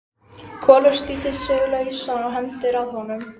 Kolur slítur sig lausan og hendist að honum.